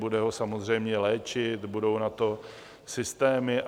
Bude ho samozřejmě léčit, budou na to systémy.